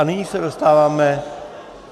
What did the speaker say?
A nyní se dostáváme...